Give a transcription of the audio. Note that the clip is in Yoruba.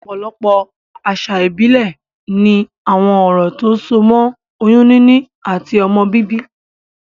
Òpòlopò àsà ìbílè ni àwon orò tó so mó oyún níní àti ọmọ bíbí